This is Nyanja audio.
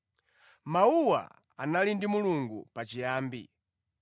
Mawuwa anali ndi Mulungu pachiyambi.